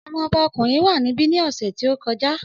Ọmọ ọba ọkùnrin wà níbí ní ọ̀sẹ̀ tí ó kọjá